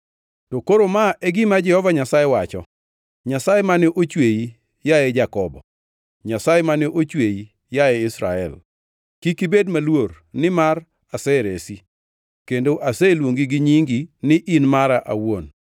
To koro ma e gima Jehova Nyasaye wacho, Nyasaye mane ochweyi, yaye Jakobo, Nyasaye mane ochweyi, yaye Israel: “Kik ibed maluor, nimar aseresi; kendo aseluongi gi nyingi ni in mara awuon.